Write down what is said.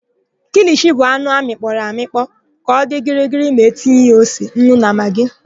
KIlishi bụ anụ amịkpọrọ amịkpọ ka ọ dị gịrịgịrị ma tinye ya ose, nnu na magị.